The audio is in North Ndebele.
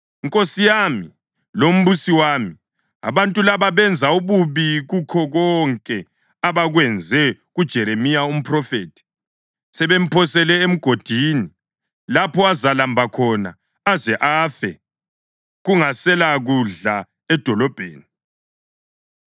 “Nkosi yami lombusi wami, abantu laba benze ububi kukho konke abakwenze kuJeremiya umphrofethi. Sebemphosele emgodini lapho azalamba khona aze afe kungaselakudla edolobheni.”